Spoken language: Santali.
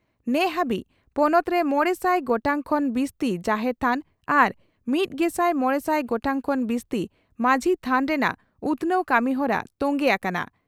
ᱱᱮᱦᱟᱵᱤᱡ ᱯᱚᱱᱚᱛᱨᱮ ᱢᱚᱲᱮᱥᱟᱭ ᱜᱚᱴᱟᱝ ᱠᱷᱚᱱ ᱵᱤᱥᱛᱤ ᱡᱟᱦᱮᱨ ᱛᱷᱟᱱ ᱟᱨ ᱢᱤᱛᱜᱮᱥᱟᱭ ᱢᱚᱲᱮᱥᱟᱭ ᱜᱚᱴᱟᱝ ᱠᱷᱚᱱ ᱵᱤᱥᱛᱤ ᱢᱟᱹᱡᱷᱤ ᱛᱷᱟᱱ ᱨᱮᱱᱟᱜ ᱩᱛᱷᱱᱟᱹᱣ ᱠᱟᱹᱢᱤᱦᱚᱨᱟ ᱛᱚᱝᱜᱮ ᱟᱠᱟᱱᱟ ᱾